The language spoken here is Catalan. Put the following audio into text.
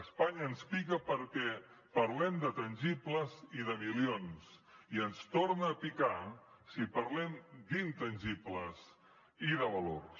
espanya ens pica perquè parlem de tangibles i de milions i ens torna a picar si parlem d’intangibles i de valors